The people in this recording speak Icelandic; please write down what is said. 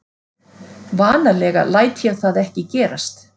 Vanalega læt ég það ekki gerast.